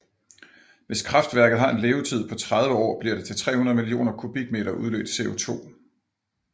Hvis kraftværket har en levetid på 30 år bliver det til 300 millioner kubikmeter udledt CO2